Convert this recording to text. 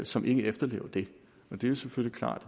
som ikke efterlever det det er selvfølgelig klart